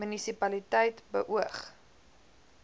munisi paliteit beoog